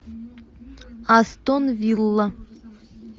астон вилла